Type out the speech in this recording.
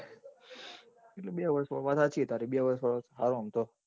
એટલે બે વર્ષ માં વાત સાચી તારી બે વર્ષ વાળો સારો.